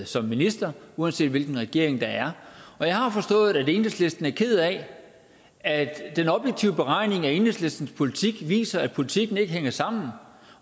som minister uanset hvilken regering der er og jeg har forstået at enhedslisten er ked af at den objektive beregning af enhedslistens politik viser at politikken ikke hænger sammen